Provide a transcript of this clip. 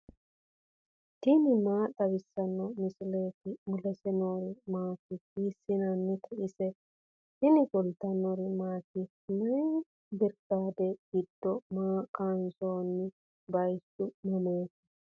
tini maa xawissanno misileeti ? mulese noori maati ? hiissinannite ise ? tini kultannori maati? May biriqaade giddo maa kayiinsoonni? bayiichchu mamaatti?